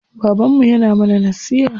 Babanmu yana mana nasiha.